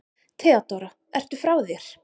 THEODÓRA: Ertu frá þér?